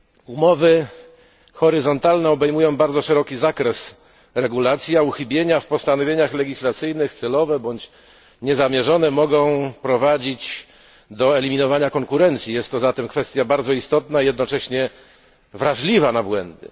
Umowy horyzontalne obejmują bardzo szeroki zakres regulacji, a uchybienia w postanowieniach legislacyjnych celowe bądź niezamierzone mogą prowadzić do eliminowania konkurencji. Jest to zatem kwestia bardzo istotna i jednocześnie wrażliwa na błędy.